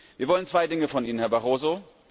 Wir wollen zwei Dinge von Ihnen, Herr Barroso.